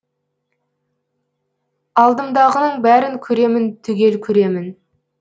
алдымдағының бәрін көремін түгел көремін